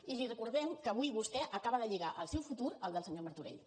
i li recordem que avui vostè acaba de lligar el seu futur al del senyor martorell